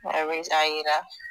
a yera